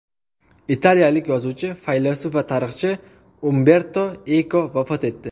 Italiyalik yozuvchi, faylasuf va tarixchi Umberto Eko vafot etdi.